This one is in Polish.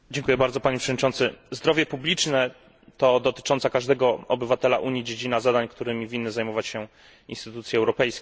Panie Przewodniczący! Zdrowie publiczne to dotycząca każdego obywatela Unii dziedzina zadań, którymi winny zajmować się instytucje europejskie.